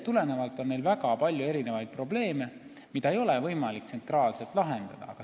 Meil on väga palju erinevaid probleeme, mida ei ole võimalik tsentraalselt lahendada.